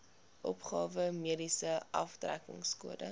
opgawe mediese aftrekkingskode